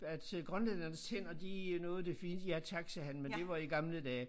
At øh grønlændernes tænder de øh noget af det fineste ja tak sagde han men det var i gamle dage